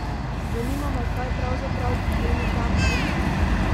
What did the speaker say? Zanima me kaj pravzaprav pomeni ta mejnik?